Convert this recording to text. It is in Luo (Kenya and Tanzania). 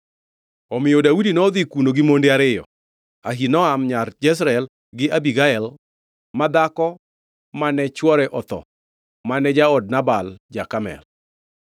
Omiyo Daudi nodhi kuno gi monde ariyo, Ahinoam nyar Jezreel gi Abigael ma dhako ma chwore otho mane jaod Nabal ja-Karmel.